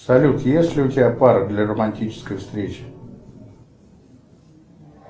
салют есть ли у тебя пара для романтической встречи